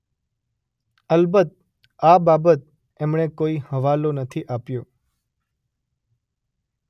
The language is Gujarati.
અલબત્ત આ બાબત એમણે કોઈ હવાલો નથી આપ્યો.